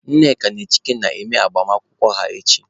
Nneka na Chike na-eme agbamakwụkwọ ha echi.